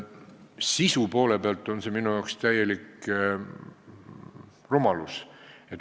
Sisu poole pealt on see minu arvates täielik rumalus.